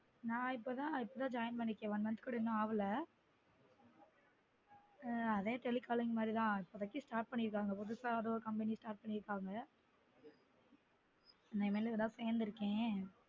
நான் இப்பொ தான் joint பண்ணிருக்கன் one month கூட ஆகல இப்பொ தான் joint பண்ணிருக்கன் அதே telecalling மாதிரி தான் இப்பொதிக்கு start பண்ணிருகாங்க புதுசா அது ஒரு company start பண்ணிருக்காங்க நான் இன்னைக்கு தான் joint பண்ணிருக்கன்